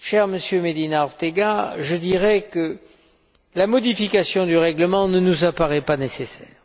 Monsieur Medina Ortega, je dirais donc que la modification du règlement ne nous apparaît pas nécessaire.